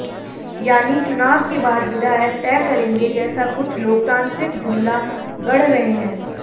यानी चुनाव के बाद विधायक तय करेंगे जैसा कुछ लोकतांत्रिक जुमला गढ रहे हैं